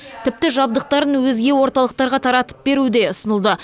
тіпті жабдықтарын өзге орталықтарға таратып беру де ұсынылды